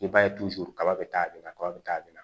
I b'a ye kaba be taa kaba be taa bɛna